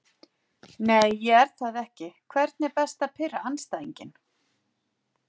Nei ég er það ekki Hvernig er best að pirra andstæðinginn?